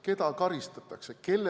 Keda karistatakse?